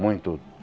Muito.